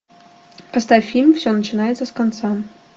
поставь фильм все начинается с конца